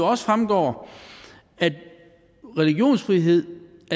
også fremgår at religionsfrihed